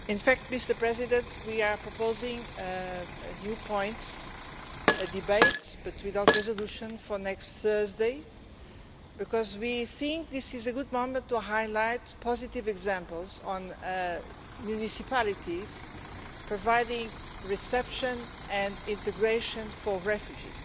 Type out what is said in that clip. Mr President, we are proposing a new point a debate but without resolutions for next Thursday because we think this is a good moment to highlight positive examples on municipalities providing reception and integration for refugees.